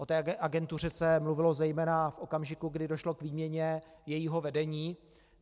O této agentuře se mluvilo zejména v okamžiku, kdy došlo k výměně jejího vedení.